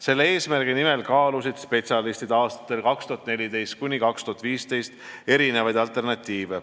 Selle eesmärgi nimel kaalusid spetsialistid aastatel 2014–2015 alternatiive.